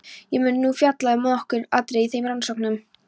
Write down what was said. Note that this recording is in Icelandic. Ég mun nú fjalla um nokkur atriði í þeim rannsóknum.